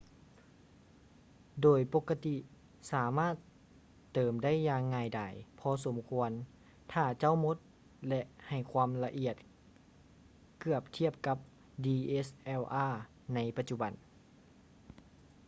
ໂດຍປົກກະຕິສາມາດເຕີມໄດ້ຢ່າງງ່າຍດາຍພໍສົມຄວນຖ້າເຈົ້າໝົດ ແລະ ໃຫ້ຄວາມລະອຽດເກືອບທຽບກັບ dslr ໃນປະຈຸບັນ